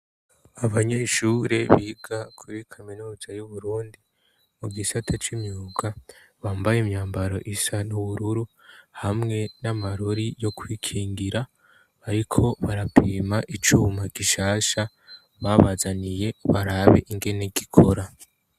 abanyeshure biga kuri kaminuza y'uburundi mu gisate c'imyuga bambaye imyambaro isa n'ubururu hamwe n'amarori yo kwikingira ariko barapima icuma gishasha babazaniye barabe ingene n'igikora